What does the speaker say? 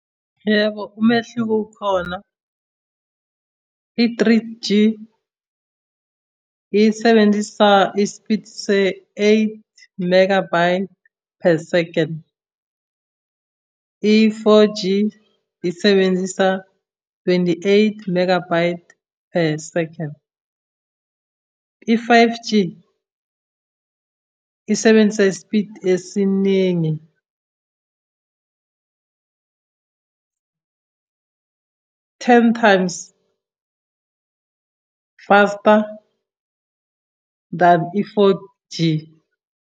Yebo, umehluko ukhona. I-three G, isebenzisa isipidi se-eight megabyte per second. I-four G, isebenzisa twenty-eight megabyte per second. I-five G, isebenzisa isipidi esiningi ten times faster than i-four G.